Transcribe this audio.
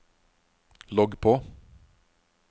logg på